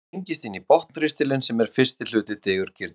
hann tengist inn í botnristilinn sem er fyrsti hluti digurgirnis